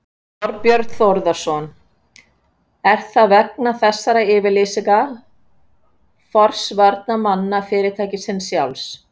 Þorbjörn Þórðarson: Er það vegna þessara yfirlýsinga forsvarsmanna fyrirtækisins sjálfs?